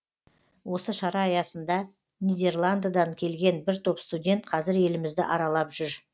осы шара аясында нидерландыдан келген бір топ студент қазір елімізді аралап жүр